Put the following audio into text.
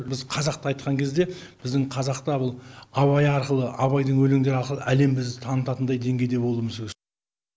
біз қазақты айтқан кезде біздің қазақта бұл абай арқылы абайдың өлеңдері арқылы әлем бізді танытатындай деңгейде болуымыз керек